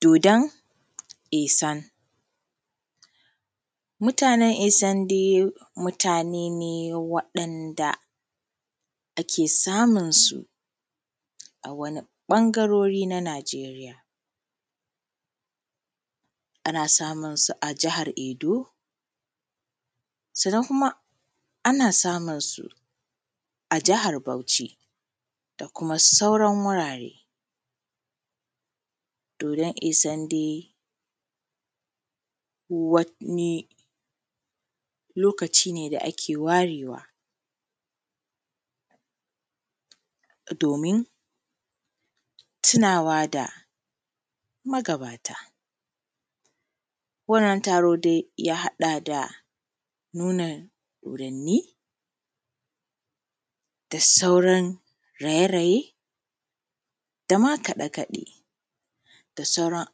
Dodon ihsan, mutanen isan dai mutane ne waɗanda ake samunsu a wani ɓangaruri na Nageriya, ana samunsu a jahar Edo sannan kuma ana samunsu a jahar Bauci da kuma sauran wurare. Dodon isan dai wani lokaci ne da ake warewa domin tunawa da magabata, wannan taron dai ya haɗa da nuna dodanni da sauran raye-raye dama kaɗe-kaɗe da sauran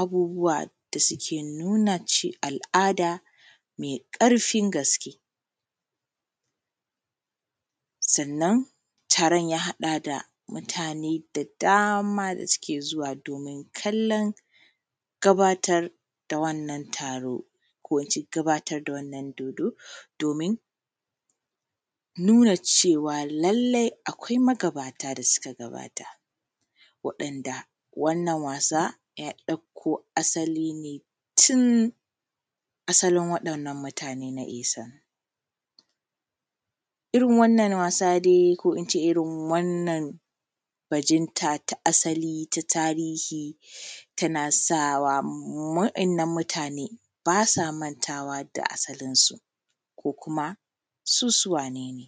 abubuwa da suke nuna al’ada me ƙarfin gaske. Sannnan taron ya haɗa da mutane da dama da suke zuwa domin kallon gabatarwa da wannan taron ko in ce gabatar da wannan dodon domin nuna cewa lallai akwai magabata da suka gabata wanda wannan wasa ya ɗauko asali ne tin asalin waɗannan mutanen na isan. Irin wannan wasa dai ko in ce bajinta ta asali ta tarihi tana sawa wa’yannnan mutane ba sa mantawa da asalinsu ko kuma su su wane ne.